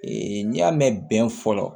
n'i y'a mɛn bɛn fɔlɔ